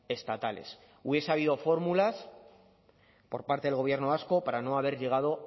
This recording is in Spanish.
estatales hubiese habido fórmulas por parte del gobierno vasco para no haber llegado